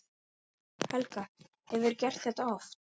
Helga: Hefurðu gert það oft?